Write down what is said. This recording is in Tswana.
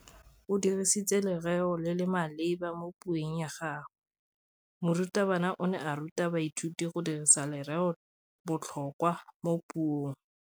O dirisitse lerêo le le maleba mo puông ya gagwe. Morutabana o ne a ruta baithuti go dirisa lêrêôbotlhôkwa mo puong.